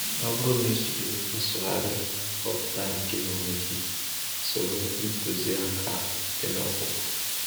Ọ bụrụ na ị jiri nsụgharị kọmputa nke onwe gị, soro ntuziaka dị n’okpuru.